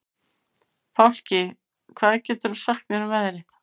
Fálki, hvað geturðu sagt mér um veðrið?